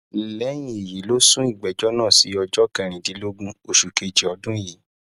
lẹyìn èyí ló sún ìgbẹjọ náà sí ọjọ kẹrìndínlọgbọn oṣù kejì ọdún yìí